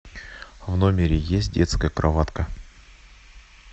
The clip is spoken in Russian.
в номере есть детская кроватка